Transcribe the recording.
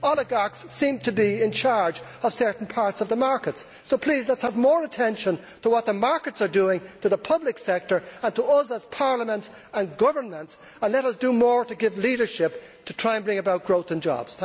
Oligarchs seem to be in charge of certain parts of the markets, so please, let us have more attention to what the markets are doing to the public sector and to us as parliaments and governments, and let us do more to give leadership, to try and bring about growth and jobs.